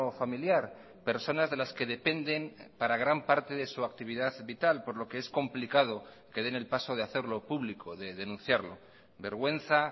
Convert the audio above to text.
familiar personas de las que dependen para gran parte de su actividad vital por lo que es complicado que den el paso de hacerlo público de denunciarlo vergüenza